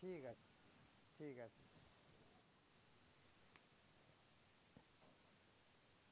ঠিক আছে।